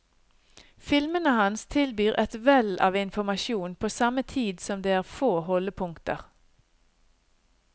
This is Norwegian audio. Filmene hans tilbyr et vell av informasjon på samme tid som det er få holdepunkter.